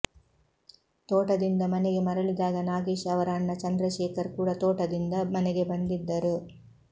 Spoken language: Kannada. ತೋಟದಿಂದ ಮನೆಗೆ ಮರಳಿದಾಗ ನಾಗೇಶ್ ಅವರ ಅಣ್ಣ ಚಂದ್ರಶೇಖರ್ ಕೂಡ ತೋಟದಿಂದ ಮನೆಗೆ ಬಂದಿದ್ದರು